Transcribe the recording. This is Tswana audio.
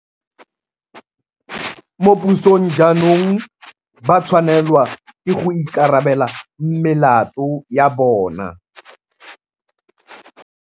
Mo pusong jaanong ba tshwanelwa ke go ikarabela melato ya bona.